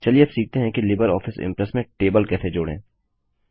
चलिए अब सीखते हैं कि लिबर ऑफिस इंप्रेस में टेबल कैसे जोड़ें